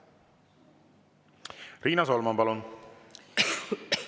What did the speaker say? Riina Solman, palun!